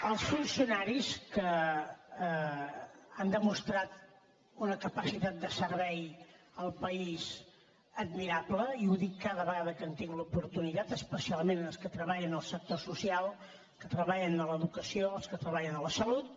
els funcionaris que han demostrat una capacitat de servei al país admirable i ho dic cada vegada que en tinc l’oportunitat especialment els que treballen en el sector social els que treballen a l’educació els que treballen a la salut